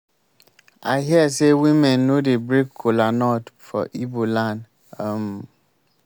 i hear say women no dey break kola nut for igbo land um